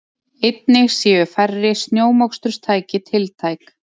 Einnig séu færri snjómoksturstæki tiltæk